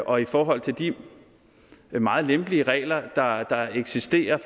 og i forhold til de meget lempelige regler der eksisterer